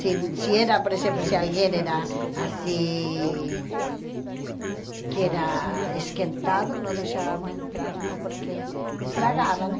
Se se era, por exemplo, se alguém era assim... Que era esquentado, não deixávamos entrar, não, porque estragava, né?